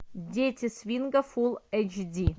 дети свинга фулл эйч ди